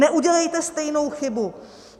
Neudělejte stejnou chybu!